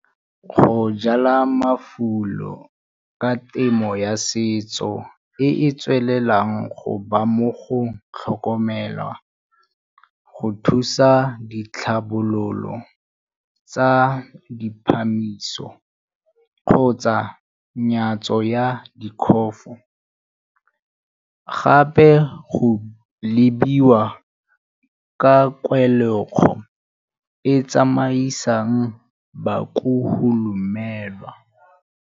Go jala mafulo ka temo ya setso e e tswelelang go ba mo go tlhokomelwa, go thusa ditlhabololo tsa di kgotsa 'nyatso ya gape go lebogiwa ka kwa e tsamaisang .